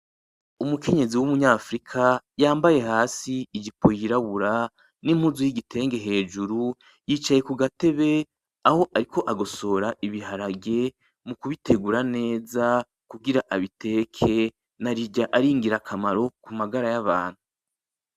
Umukenyezi w'umunyafrika, yambaye hasi ijipo yirabura n'impuzu yigitenge hejuru, yicaye kugatebe aho ariko agosora ibiharage mukubitegura neza kugira abiteke. Narirya ari ingira kamaro kumagara yabantu.